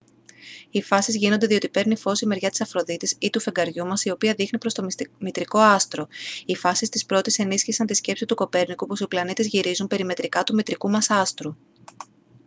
οι φάσεις γίνονται διότι παίρνει φως η μεριά της αφροδίτης ή του φεγγαριού μας η οποία δείχνει προς το μητρικό άστρο. οι φάσεις της πρώτης ενίσχυσαν τη σκέψη του κοπέρνικου πως οι πλανήτες γυρίζουν περιμετρικά του μητρικού μας άστρου